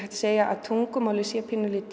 segja að tungumálið sé